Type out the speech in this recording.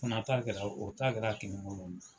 Fana ta kɛra , o ta kɛra kini bolo ye.